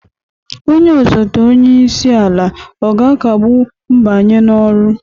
Onye osote onye isi ala ọ ga-akagbu mbanye n'ọrụ?